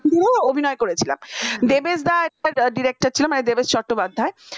তো অভিনয় করেছিলাম দেবেশ তো একটা director ছিল মানে দেবেশ চট্টোপাধ্যায়